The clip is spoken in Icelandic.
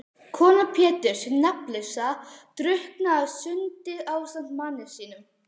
Kona Péturs hin nafnlausa drukknaði á sundinu ásamt manni sínum.